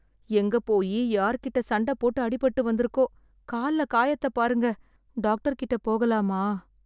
எங்க போயி யார்கிட்ட சண்டை போட்டு அடிபட்டு வந்துருக்கோ... கால்ல காயத்தை பாருங்க. டாக்டர் கிட்ட போகலாமா?